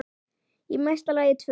Í mesta lagi tvö.